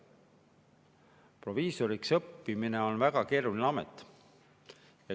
Proviisoriks õppimine on väga keeruline.